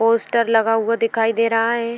Poster लगा हुआ दिखाई दे रहा है।